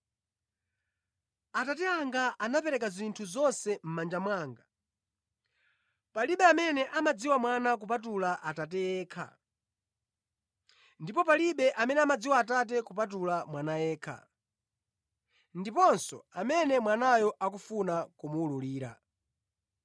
“Atate anga anapereka zinthu zonse mʼmanja mwanga. Palibe amene amadziwa Mwana kupatula Atate yekha, ndipo palibe amene amadziwa Atate kupatula Mwana yekha, ndiponso amene Mwanayo akufuna kumuwululira.”